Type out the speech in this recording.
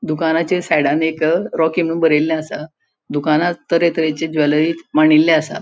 दुकानाचेर सायडान एक रॉकी म्हणू बरेले असा दुकानान तर्हे तऱहेचे ज्वेलरी माणिल्ले असा.